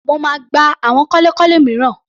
Mo máa gba àwọn kọ́lékọ́lé mìíràn.